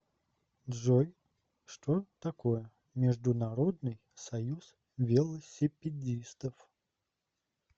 джой что такое международный союз велосипедистов